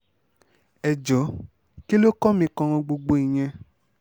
ẹ jọ̀ọ́ kí ló kàn mí kan gbogbo ìyẹn